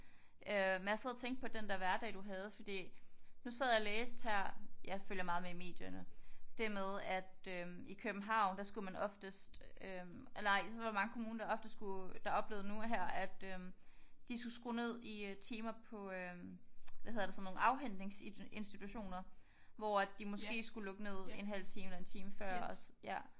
Øh men jeg sad og tænkte på den der hverdag du havde fordi nu sad jeg og læste her jeg følger meget med i medierne det med at øh i København der skulle man oftest. Nej det var i mange der ofte skulle der oplevede nu her at øh de skulle skrue ned i timer på hvad hedder det sådan nogle afhentningsinstitutioner hvor at de måske skulle lukke ned en halv time eller en time før